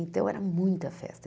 Então, era muita festa.